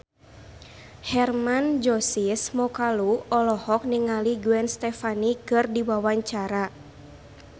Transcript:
Hermann Josis Mokalu olohok ningali Gwen Stefani keur diwawancara